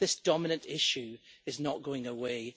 This dominant issue is not going away.